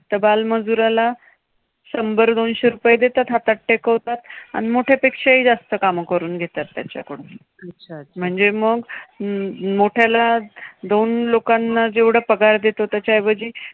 तर बालमजुराला शंभर-दोनशे रुपये देतात हातात टेकवतात. आणि मोठ्या पेक्षाही जास्त काम करून घेतात त्याच्याकडून. म्हणजे मग मोठ्याला दोन लोकांना जेवढे पगार देतो त्याचे ऐवजी